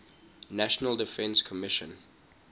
national defense commission